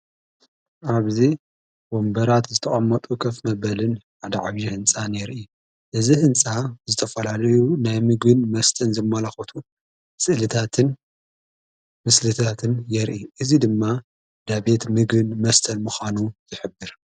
ኣብዚ ወንበራት ዝተቛመጡ ኸፍ መበልን ኣደዓግዪ ሕንፃ የርኢ እዝ ሕንፃ ዝተፈላልዩ ናይ ምግን መስተን ዘመለኹቱ ጽልታትን ምስልታትን የርኢ እዙይ ድማ ዳቤት ምግን መስተል ምዃኑ ይኅብር።